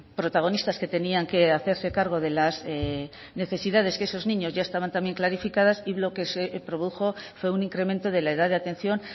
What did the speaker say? protagonistas que tenían que hacerse cargo de las necesidades que esos niños ya estaban también clarificadas y lo que se produjo fue un incremento de la edad de la atención